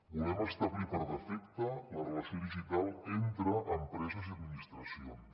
volem establir per defecte la relació digital entre empreses i administracions